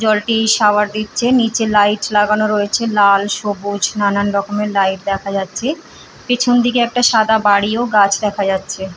জলটি শাওয়ার দিচ্ছে নিচে লাইট লাগানো রয়েছে লাল সবুজ নানানরকমের লাইট দেখা যাচ্ছে পেছন দিকে একটা সাদা বাড়ি ও গাছ দেখা যাচ্ছে।